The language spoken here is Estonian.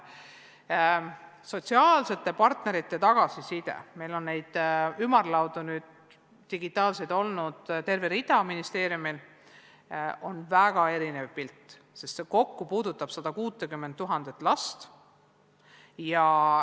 Sotsiaalsete partnerite tagasiside – meil on neid digitaalseid ümarlaudu olnud ministeeriumis terve rida – on väga erinev, sest kokku puudutab see 160 000 last.